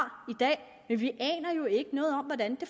i vi aner jo ikke noget om hvordan det